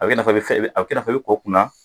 A bɛ kɛ i n'a fɔ i bɛ ko kunna